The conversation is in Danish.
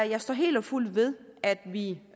jeg står helt og fuldt ved at vi